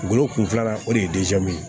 Ngolo kun filanan o de ye ye